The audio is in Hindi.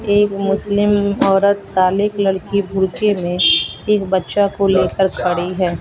एक मुस्लिम औरत काले कलर के भुड़के में एक बच्चा को लेकर खड़ी है।